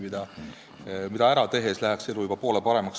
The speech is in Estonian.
Kui see ära teha, läheks elu juba poole paremaks.